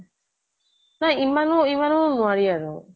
নহয় ইমানো, ইমনো নোৱাৰি আৰু